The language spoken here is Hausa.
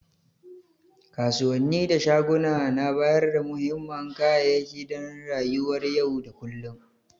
Kasuwanni da shaguna na bayarda muhimman kayayyaki dan rayuwar yau da kullum.